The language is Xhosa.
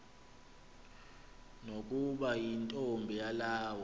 nokuba yintombi yelawu